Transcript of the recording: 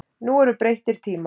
Nú eru breyttir tímar.